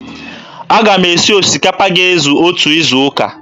Aga m esi osikapa ga-ezu otu izuụka.